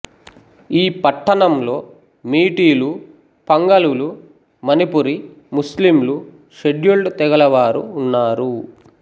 ఈ పట్టణంలో మీటీలు పంగలులు మణిపురి ముస్లింలు షెడ్యూల్డ్ తెగలవారు ఉన్నారు